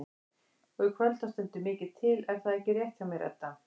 Og í kvöld þá stendur mikið til er það ekki rétt hjá mér Edda?